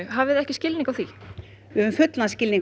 hafið þið ekki skilning á því við höfum fullan skilning